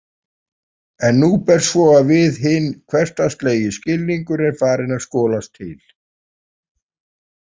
En nú ber svo við að hinn hversdagslegi skilningur er farinn að skolast til.